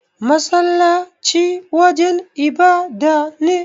Masallaci wajan ibada ne.